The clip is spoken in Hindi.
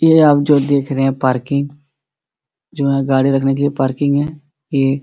ये आप जो देख रहे हैं पार्किंग जो यहाँ गाड़ी रखने के लिए पार्किंग है ये --